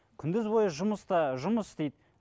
күндіз бойы жұмыста жұмыс істейді